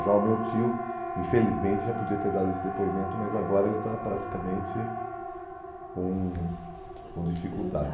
Já o meu tio, infelizmente, já podia ter dado esse depoimento, mas agora ele está praticamente com com dificuldade.